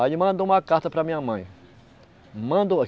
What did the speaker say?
Aí ele mandou uma carta para a minha mãe.